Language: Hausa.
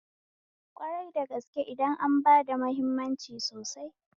Kwari da gaske idan an bada hammimanci sosai